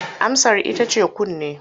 Amsar ita ce kunne.